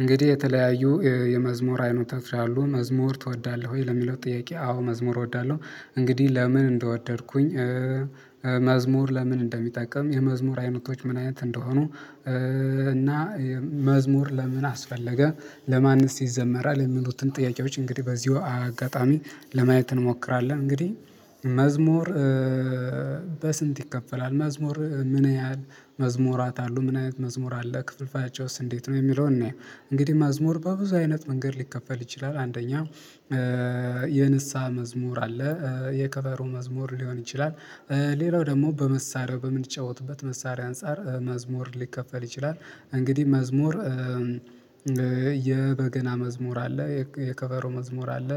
እንግዲህ የተለያዩ የመዝሙር አይነቶች አሉ። መዝሙር ትወዳለህ ወይ ለሚለው ጥያቄ አዎ መዝሙር እወዳለሁ። እንግዲህ ለምን እንደወደድኩኝ መዝሙር ለምን እንደሚጠቀም፣ የመዝሙር አይነቶች ምን አይነት እንደሆኑ፣ እና መዝሙር ለምን አስፈለገ፣ ለማንስ ይዘመራል የሚሉትን ጥያቄዎች እንግዲህ በዚሁ አጋጣሚ ለማየት እንሞክራለን። እንግዲህ መዝሙር በስንት ይከፈላል፣ መዝሙር ምን ያህል መዝሙራት አሉ፣ ምን አይነት መዝሙር አለ ክፍልፋያቸውስ እንዴት ነው የሚለውን እንየው። እንግዲህ መዝሙር በብዙ አይነት መንገድ ሊከፈል ይችላል አንደኛው የንስሃ መዝሙር አለ የከቨሩ መዝሙር ሊሆን ይችላል ሌላው ደግሞ በመሳሪያው በምንጫወትበት መሳሪያ አንፃር መዝሙር ሊከፈል ይችላል። እንግዲህ መዝሙር የበገና መዝሙር አለ። የከበሮ መዝሙር አለ።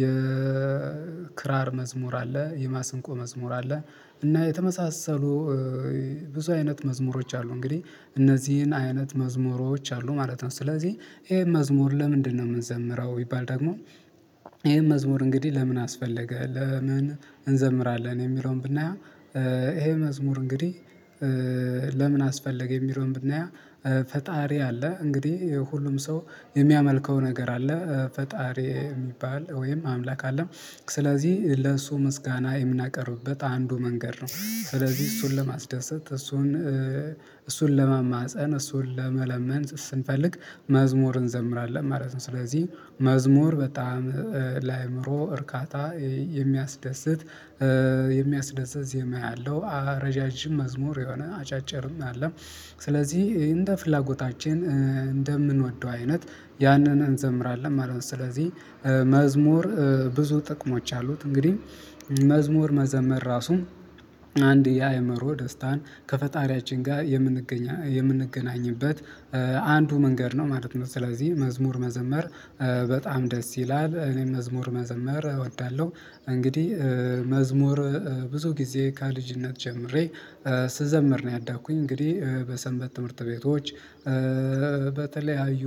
የክራር መዝሙር አለ። የማሰንቆ መዝሙር አለ። እና የተመሳሰሉ ብዙ አይነት መዝሙሮች አሉ እንግዲህ እነዚህን አይነት መዝሙሮች አሉ ማለት ነው። ስለዚህ ይሄ መዝሙር ለምንድነው የምንዘምረው ቢባል ደግሞ ይሄ መዝሙር እንግዲህ ለምን አስፈለገ፣ ለምን እንዘምራለን የሚለውን ብናየው ይሄ መዝሙር እንግዲህ ለምን አስፈለገ የሚለውን ብናየው ፈጣሪ አለ። እንግዲህ ሁሉም ሰው የሚያመልከው ነገር አለ። ፈጣሪ የሚባል ወይም አምላክ አለ። ስለዚህ ለእሱ ምስጋና የምናቀርብበት አንዱ መንገድ ነው። ስለዚህ እሱን ለማስደሰት እሱን እሱን ለመማፀን፣ እሱን ለመለመን ስንፈልግ መዝሙር እንዘምራለን ማለት ነው። ስለዚህ መዝሙር በጣም ለአእምሮ እርካታ የሚያስደስት፣ የሚያስደስት ዜማ ያለው፣ ረዣዥም መዝሙር የሆነ አጫጭርም አለ። ስለዚህ እንደ ፍላጎታችን እንደምንወደው አይነት ያንን እንዘምራለን ማለት ነው። ስለዚህ መዝሙር ብዙ ጥቅሞች አሉት። እንግዲህ መዝሙር መዘመር ራሱ አንድ የአእምሮ ደስታን ከፈጣሪያችን ጋር የምንገኝ የምንገናኝበት አንዱ መንገድ ነው ማለት ነው። ስለዚህ መዝሙር መዘመር በጣም ደስ ይላል። እኔም መዝሙር መዘመር እወዳለሁ። እንግዲህ መዝሙር ብዙ ጊዜ ከልጅነት ጀምሬ ስዘምር ነው ያደግኩኝ። እንግዲህ በሰንበት ትምህርት ቤቶች እ በተለያዩ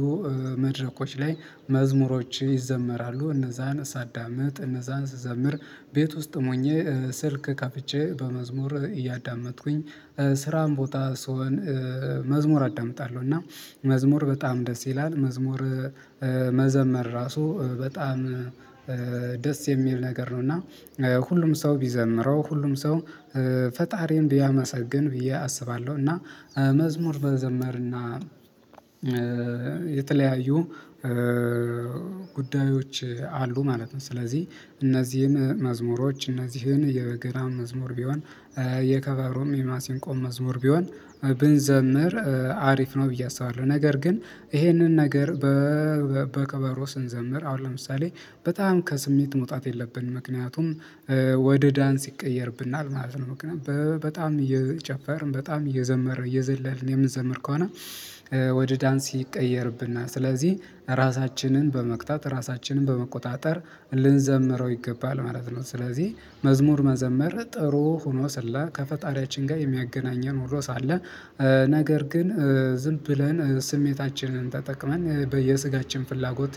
መድረኮች ላይ መዝሙሮች ይዘመራሉ እነዛን ሳዳምጥ፣ እነዛን ስዘምር ቤት ውስጥም ሆኜ ስልክ ከፍቼ በመዝሙር እያዳመጥኩኝ፣ ስራም ቦታ ስሆን መዝሙር አዳምጣለሁ። እና መዝሙር በጣም ደስ ይላል። መዝሙር መዘመር ራሱ በጣም ደስ የሚል ነገር ነው። እና ሁሉም ሰው ቢዘምረው፣ ሁሉም ሰው ፈጣሪን ቢያመሰግን ብዬ አስባለሁ። እና መዝሙር መዘመርና የተለያዩ ጉዳዮች አሉ ማለት ነው። ስለዚህ እነዚህን መዝሙሮች እነዚህን የበገና መዝሙር ቢሆን፣ የከበሮም የማሲንቆም መዝሙር ቢሆን፣ ብንዘምር አሪፍ ነው ብዬ አስባለሁ። ነገር ግን ይሄንን ነገር በከበሮ ስንዘምር አሁን ለምሳሌ በጣም ከስሜት መውጣት የለብንም። ምክንያቱም ወደ ዳንስ ይቀየርብናል ማለት ነው። በጣም እየጨፈርን በጣም እየዘመርን እየዘለልን የምንዘምር ከሆነ፣ ወደ ዳንስ ይቀየርብናል። ስለዚህ ራሳችንን በመግታት ራሳችንን በመቆጣጠር ልንዘምረው ይገባል ማለት ነው። ስለዚህ መዝሙር መዘመር ጥሩ ሆኖ ስለ ከፈጣሪያችን ጋር የሚያገናኘን ሆኖ ሳለ ነገር ግን ዝም ብለን ስሜታችንን ተጠቅመን በየስጋችን ፍላጎት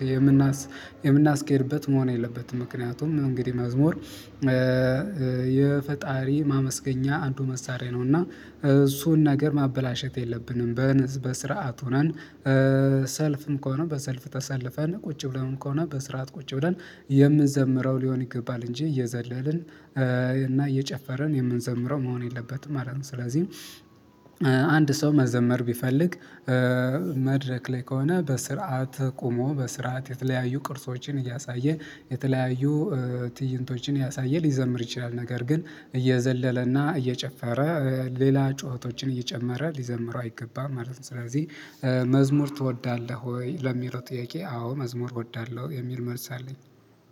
የምናስኬድበት መሆን የለበትም። ምክንያቱም እንግዲህ መዝሙር የፈጣሪ ማመስገኛ አንዱ መሳሪያ ነው እና እሱን ነገር ማበላሸት የለብንም። በስርዓት ሆነን፣ ሰልፍም ከሆነ በሰልፍ ተሰልፈን፣ ቁጭ ብለንም ከሆነ በስርዓት ቁጭ ብለን የምንዘምረው ሊሆን ይገባል እንጂ እየዘለልን እና እየጨፈርን የምንዘምረው መሆን የለበትም ማለት ነው። ስለዚህ አንድ ሰው መዘመር ቢፈልግ እ መድረክ ላይ ከሆነ በስርዓት ቆሞ በስርዓት የተለያዩ ቅርሶችን እያሳየ የተለያዩ ትዕይንቶችን እያሳየ ሊዘምር ይችላል። ነገር ግን፣ እየዘለለና እየጨፈረ ሌላ ጩኸቶችን እየጨመረ ሊዘምረው አይገባም ማለት ነው። ስለዚህ መዝሙር ትወዳለህ ወይ ለሚለው ጥያቄ አዎ መዝሙር እወዳለሁ የሚል መልስ አለኝ።